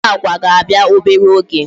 Ndị Agwa ga-abịa obere oge